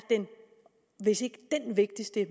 hvis ikke den vigtigste